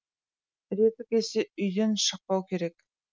реті келсе үйден шықпау керек